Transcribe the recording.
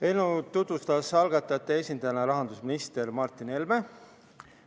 Eelnõu tutvustas algatajate esindajana rahandusminister Martin Helme.